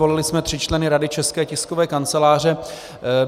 Volili jsme tři členy Rady České tiskové kanceláře.